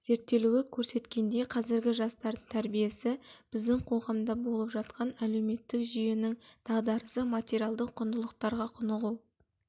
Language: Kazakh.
зерттелуі көрсеткендей қазіргі жастардың тәрбиесі біздің қоғамда болып жатқан әлеуметтік жүйенің дағдарысы материалдық құндылықтарға құнығу